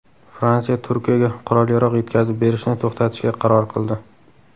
Fransiya Turkiyaga qurol-yarog‘ yetkazib berishni to‘xtatishga qaror qildi.